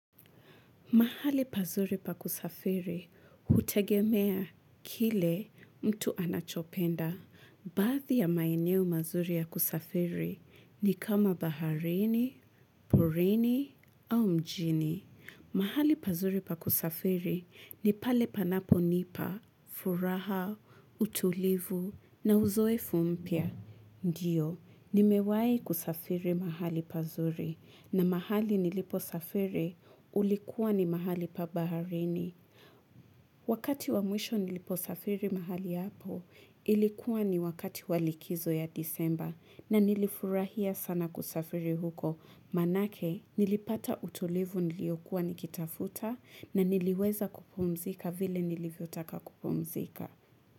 Mahali pazuri pakusafiri, hutegemea kile mtu anachopenda. Baadhi ya maeneo mazuri ya kusafiri ni kama baharini, porini au mjini. Mahali pazuri pakusafiri ni pale panapo nipa, furaha, utulivu na uzoefu mpya. Ndiyo, nimewai kusafiri mahali pazuri na mahali nilipo safiri ulikuwa ni mahali pabaharini. Wakati wamwisho nilipo safiri mahali hapo ilikuwa ni wakati walikizo ya disemba na nilifurahia sana kusafiri huko. Maana yake nilipata utulivu niliokua nikitafuta na niliweza kupomzika vile nilivyotaka kupumzika.